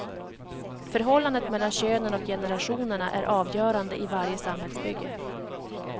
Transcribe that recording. Förhållandet mellan könen och generationerna är avgörande i varje samhällsbygge.